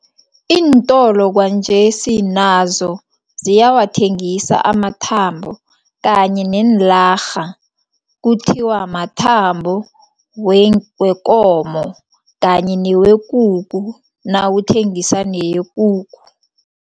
Iintolo kwanjesi nazo ziyawathengisa amathambo kanye neenlarha, kuthiwa mathambo wekomo kanye newekukhu, nawuthengisa neyekukhu.